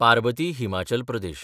Parbati (Himachal Pradesh)